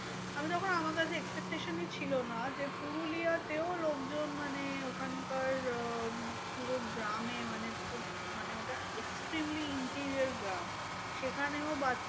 আমি তখন আমার কাছে expectation ই ছিল না যে, পুরুলিয়া তেও লোকজন মানে ওখানকার আহ পুরো গ্রামে মানে মানে ওটা extremely interior গ্রাম। সেখানেও বাচ্চা